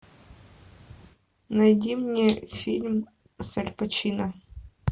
найди мне фильм с аль пачино